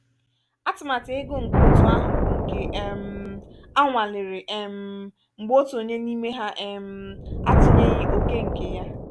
atụmatụ ego nke otu ahụ bụ nke um anwalere um mgbe otu onye n'iime ha um atụnyeghị òkè nkè yá.